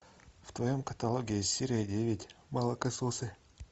в твоем каталоге есть серия девять молокососы